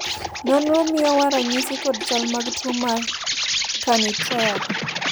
nonro miyowa ranyisi kod chal mag tuo mar Carney triad